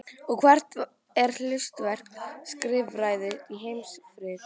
Og hvert er hlutverk skrifræðis í heimsfriði?